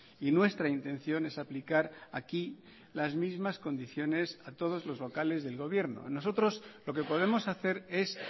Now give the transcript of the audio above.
y nuestra intención es aplicar aquí las mismas condiciones a todos los locales del gobierno nosotros lo que podemos hacer es